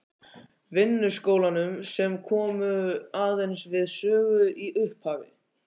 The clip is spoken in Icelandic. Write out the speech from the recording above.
Vinnuskólanum, sem komu aðeins við sögu í upphafi.